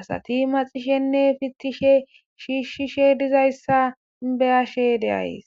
asati maxishenne fittishe shiishshishe dizayssa beyashe deays